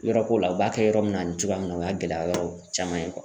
Yɔrɔ ko la u b'a kɛ yɔrɔ min na nin cogoya min na o y'a gɛlɛya yɔrɔ caman ye